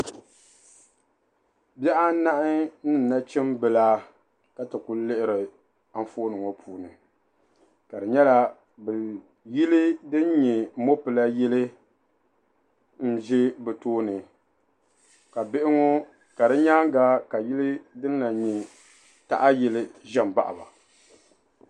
Bihi anahi ni nachimba ka ti ku lihiri anfooni ŋɔ puuni ka di nyɛla yili din nyɛ mɔpila yili n-ʒi bɛ tooni ka di nyaaŋga ka yili din lahi nyɛ taha yili za m-baɣi ba.